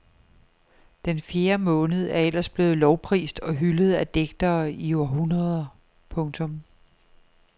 Den fjerde måned er ellers blevet lovprist og hyldet af digtere i århundreder. punktum